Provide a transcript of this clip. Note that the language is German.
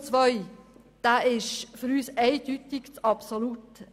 Zu Ziffer 2: Dieser ist für uns eindeutig zu absolut.